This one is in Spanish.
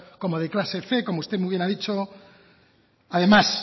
como de clase cien como usted muy bien ha dicho además